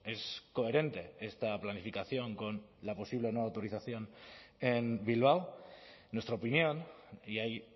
es coherente esta planificación con la posible no autorización en bilbao en nuestra opinión y ahí